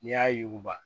N'i y'a yuguba